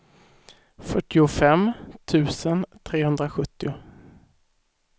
fyrtiofem tusen trehundrasjuttio